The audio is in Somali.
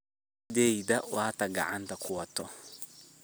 Xadiyadhey wata kacanta kuwata.